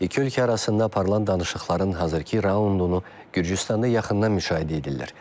İki ölkə arasında parlak danışıqların hazırkı raundunu Gürcüstanda yaxından müşahidə edirlər.